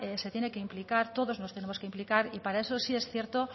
se tiene que implicar todos nos tenemos que implicar y para eso sí es cierto